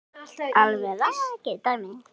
Alveg rakið dæmi.